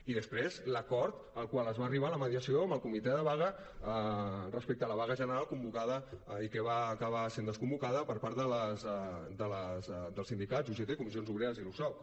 i després l’acord al qual es va arribar en la mediació amb el comitè de vaga respecte a la vaga general i que va acabar sent desconvocada per part dels sindicats ugt comissions obreres i l’usoc